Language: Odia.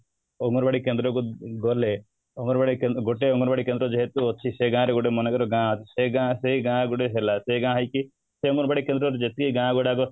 ଅଙ୍ଗନବାଡି କେନ୍ଦ୍ର କୁ ଗଲେ ଗୋଟେ ଅଙ୍ଗନବାଡି କେନ୍ଦ୍ର ଯେହେତୁ ଅଛି ସେ ଗାଁ ରେ ଗୋଟେ ମନେକର ଗାଁ ଅଛି ସେ ଗାଁ ସେ ଗାଁ ଗୋଟେ ଥିଲା ସେ ଗାଁ ହେଇଛି ସେ ଅଙ୍ଗନବାଡି କେନ୍ଦ୍ର ରୁ ଯେତିକି ଗାଁ ଗୁଡାକ